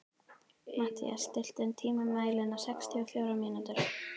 Mathías, stilltu tímamælinn á sextíu og fjórar mínútur.